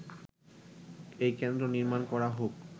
এ কেন্দ্র নির্মাণ করা হোক”